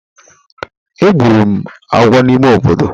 Egburu m agwo n’ime obodo.